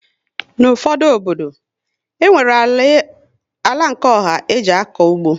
N' ụfọdụ obodo, enwere àlà bu nke ọha e ji akọ ụgbọ